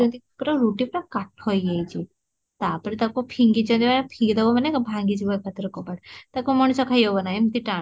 ପୁରା ରୁଟି ପୁରା କାଠ ହେଇ ଯାଇଛି ତାପରେ ତାକୁ ଫିଙ୍ଗିଛନ୍ତି ଫିଙ୍ଗିଦବ ମାନେ କଣ ଭାଙ୍ଗି ଦବ ମାନେ ଭାଙ୍ଗି ଯିବ କବାଟ ତାକୁ କଣ ଖାଇ ହବ ନା ଏମିତି ଟାଣ